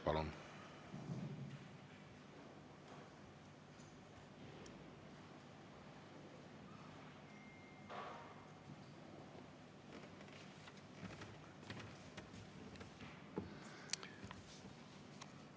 Palun!